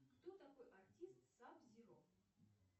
кто такой артист саб зиро